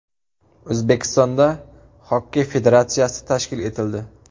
O‘zbekistonda Xokkey federatsiyasi tashkil etildi.